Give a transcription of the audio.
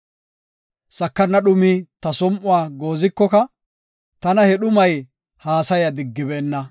Sakana dhumay ta som7uwa goozikoka, tana he dhumay haasaya diggibeenna.